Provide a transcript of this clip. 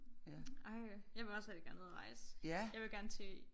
Ej jeg vil også rigtig gerne ud at rejse. Jeg vil gerne til